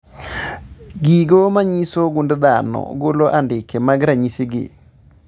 Gigo manyiso gund dhano golo andike mag ranyisi gi